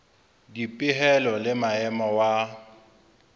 le dipehelo le maemo wa